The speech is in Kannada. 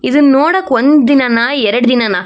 ಇದನ್ನ ನೋಡಕೆ ಒಂದು ದಿನನಾ ಎರಡು ದಿನನಾ.